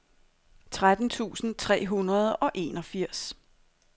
tretten tusind tre hundrede og enogfirs